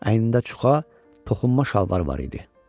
Əynində çuxa, toxunma şalvarı var idi.